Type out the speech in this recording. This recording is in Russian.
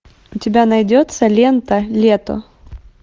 у тебя найдется лента лето